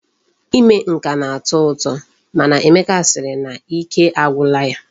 Ime nka na-atọ ụtọ mana Emeka sịrị na ike agwụla ya.